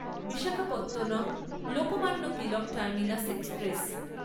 Visakhapatnam Lokmanya Tilak terminus express